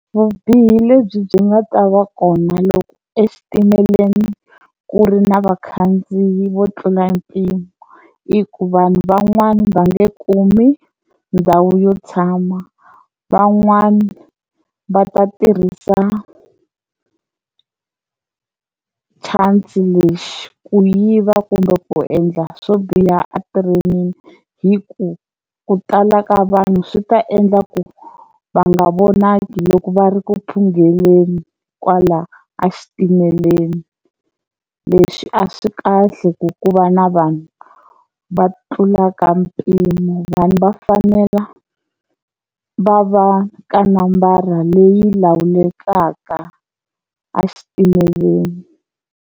Vubihi lebyi byi nga ta va kona loko exitimeleni ku ri na vakhandziyi vo tlula mpimo i ku vanhu van'wani va nge kumi ndhawu yo tshama van'wani va ta tirhisa chance lexi ku yiva kumbe ku endla swo biha a train-ini hi ku ku tala ka vanhu swi ta endla ku va nga vonaki loko va ri ku phungeleni kwala a xitimeleni, leswi a swi kahle ku ku va na vanhu va tlulaka mpimo vanhu va fanela va va ka nambara leyi lawulekaka a xitimeleni.